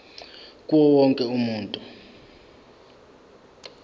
kuwo wonke umuntu